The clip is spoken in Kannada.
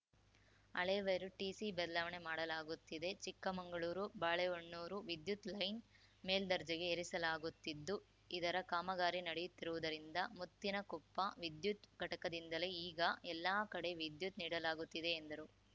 ಹಳೇ ವೈರು ಟಿಸಿ ಬದಲಾವಣೆ ಮಾಡಲಾಗುತ್ತಿದೆ ಚಿಕ್ಕಮಂಗಳೂರುಬಾಳೆಹೊನ್ನೂರು ವಿದ್ಯುತ್‌ ಲೈನ್‌ ಮೇಲ್ದರ್ಜೆಗೆ ಏರಿಸಲಾಗುತ್ತಿದ್ದು ಇದರ ಕಾಮಗಾರಿ ನಡೆಯುತ್ತಿರುವುದರಿಂದ ಮುತ್ತಿನಕೊಪ್ಪ ವಿದ್ಯುತ್‌ ಘಟಕದಿಂದಲೇ ಈಗ ಎಲ್ಲಾ ಕಡೆ ವಿದ್ಯುತ್‌ ನೀಡಲಾಗುತ್ತಿದೆ ಎಂದರು